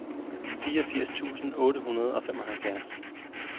fireogfirs tusind otte hundrede og femoghalvfjerds